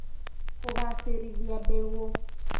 Kũgacĩrithia mbegũ